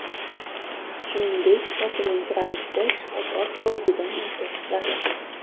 Shuningdek, shoshilinch ravishda shifokor ko‘rigidan o‘tish zarur.